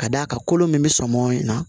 Ka d'a kan kolo min bɛ sɔn mɔn in na